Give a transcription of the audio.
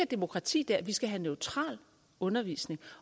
demokrati dér vi skal have neutral undervisning